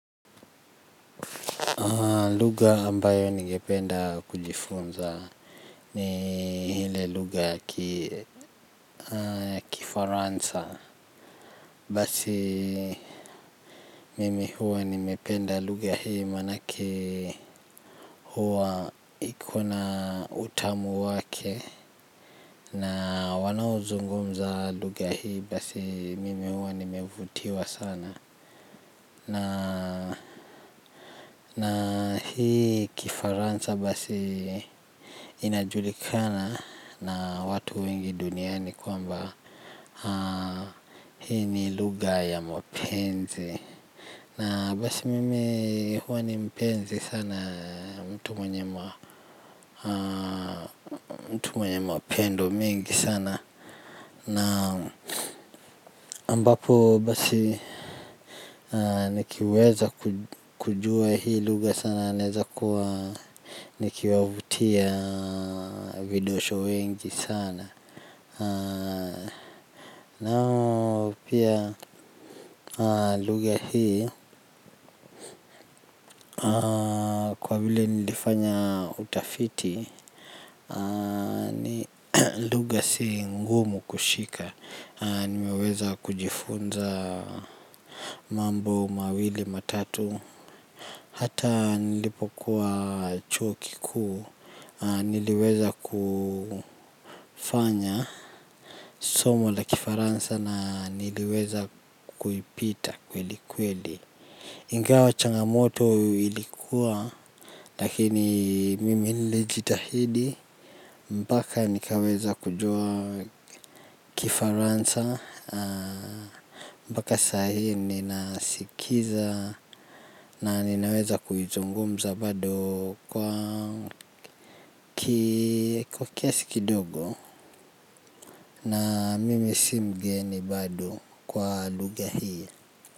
Lugha ambayo ningependa kujifunza ni ile lugha ya kifaransa. Basi mimi huwa nimependa lugha hii manake huwa ikona utamu wake na wanaozungumza lugha hii basi mimi huwa nimevutiwa sana. Na hii kifaransa basi inajulikana na watu wengi duniani kwamba hii ni lugha ya mapenzi. Na basi mimi huwa ni mpenzi sana mtu mwenye mapendo mengi sana. Na ambapo basi nikiweza kujua hii lugha sana naeza kuwa nikiwavutia vidosho wengi sana. Na pia lugha hii kwa vile nilifanya utafiti ni lugha si ngumu kushika. Nimeweza kujifunza mambo mawili matatu. Hata nilipokuwa chuo kikuu niliweza kufanya somo la kifaransa na niliweza kuipita kweli kweli ingawa changamoto ilikuwa lakini mimi nilijitahidi. Mpaka nikaweza kujua kifaransa. Mpaka saa hii ninasikiza na ninaweza kuizungumza bado kwa kiasi kidogo. Na mimi simgeni bado kwa lugha hii.